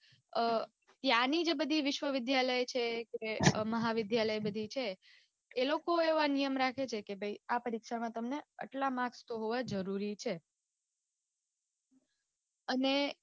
અઅ ત્યાંની જે બધી વિશ્વવિદ્યાલય છે કે મહાવિદ્યાલય બધી છે એ લોકો એવા નિયમ રાખે છે કે ભાઈ આ પરીક્ષામાં તમને આટલા marks તો હોવા જરૂરી છ અને